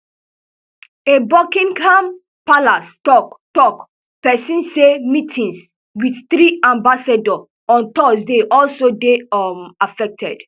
a buckingham palace tok tok pesin say meetings wit three ambassador on thursday also dey um affected